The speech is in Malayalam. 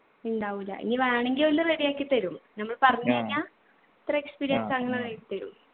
ഉണ്ടാവൂല ഇനി വേണെങ്കി ഓല് ready ആക്കിത്തരും നമ്മള് പറഞ്ഞു കഴിഞ്ഞാ എത്ര experience അങ്ങനെര് എഴുതി തരും